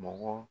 Mɔgɔ